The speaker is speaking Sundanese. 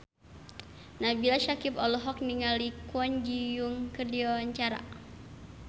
Nabila Syakieb olohok ningali Kwon Ji Yong keur diwawancara